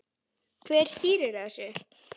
Hver stýrir þessu?